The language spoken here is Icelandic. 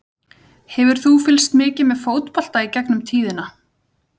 Hefur þú fylgst mikið með fótbolta í gegnum tíðina?